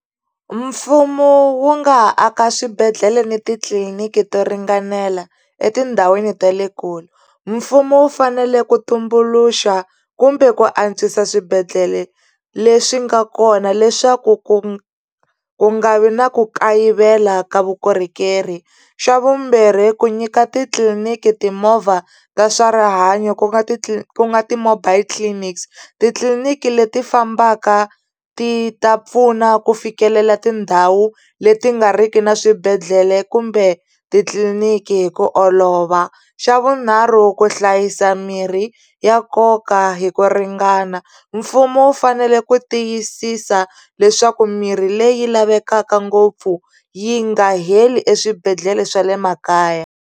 Mfumo wu nga ha aka swibedhlele ni titliliniki to ringanela etindhawini ta le kule mfumo wu fanele ku tumbuluxa kumbe ku antswisa swibedhlele leswi nga kona leswaku ku nga vi na ku kayivela ka vukorhokeri xa vumbirhi ku nyika titliliniki timovha ta swa rihanyo ku nga ku nga ti-mobile clinics titliliniki leti fambaka ti ta pfuna ku fikelela tindhawu leti nga riki na swibedhlele kumbe titliniki hi ku olova xa vunharhu ku hlayisa mirhi ya nkoka hi ku ringana mfumo wu fanele ku tiyisisa leswaku mirhi leyi lavekaka ngopfu yi nga heli eswibedhlele swa le makaya.